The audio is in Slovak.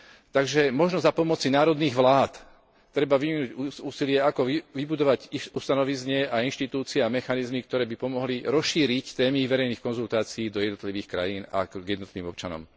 Takže možno za pomoci národných vlád treba vyvinúť úsilie, ako vybudovať ich ustanovizne a inštitúcie a mechanizmy, ktoré by pomohli rozšíriť témy verejných konzultácií do jednotlivých krajín a k jednotlivým občanom.